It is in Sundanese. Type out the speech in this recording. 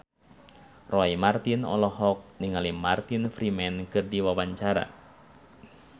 Roy Marten olohok ningali Martin Freeman keur diwawancara